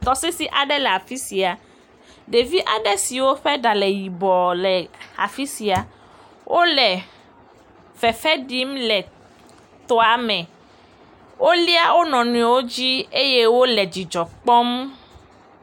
Tɔsisi aɖe le afisia, ɖevi aɖewo ƒe ɖa wɔ yibɔ le afisia. Wo le fefe ɖim le tɔa me. Wolia wo nɔnɔewo dzi eye wo le dzidzɔ kpɔm.